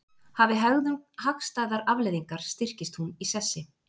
Hafi hegðun hagstæðar afleiðingar styrkist hún í sessi.